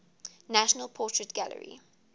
national portrait gallery